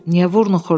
Niyə vurnuxurdu?